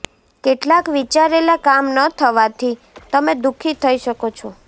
કેટલાક વિચારેલા કામ ન થવાથી તમે દુખી થઈ શકો છો